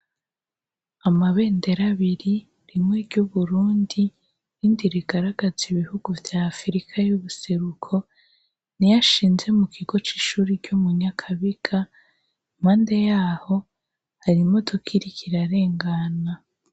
Amabendera abiri, rimwe ry'Uburundi irindi rigaragaza ibihugu vya Afrika y'ubuseruko niyo ashinze mu kigo c'ishure ryo mu Nyakabiga impande yaho hari imodoka iriko irarengana.